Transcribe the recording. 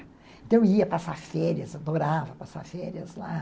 Então eu ia passar férias, adorava passar férias lá.